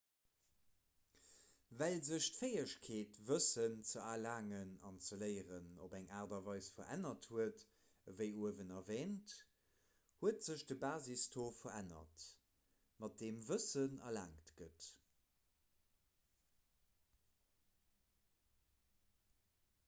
well sech d'fäegkeet wëssen ze erlaangen an ze léieren op eng aart a weis verännert huet ewéi uewen erwäänt huet sech de basistaux verännert mat deem wëssen erlaangt gëtt